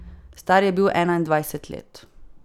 Star je bil enaindvajset let.